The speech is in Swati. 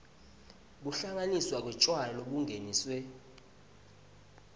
kuhlanganiswa kwetjwala lobungeniswe